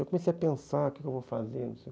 Eu comecei a pensar o que eu vou fazer.